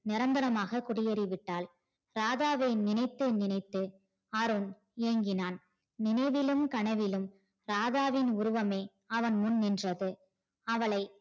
நிரந்தரமாக குடியேறிவிட்டால் ராதாவை நினைத்து நினைத்து அருண் ஏங்கினான் நினைவிலும் கனவிலும் ராதாவின் உருவமே அவன்முன் நின்றது அவளை